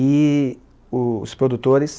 E os produtores